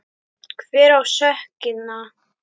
Hver á sökina?